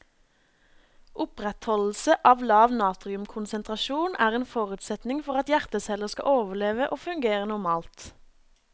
Opprettholdelse av lav natriumkonsentrasjon er en forutsetning for at hjerteceller skal overleve og fungere normalt.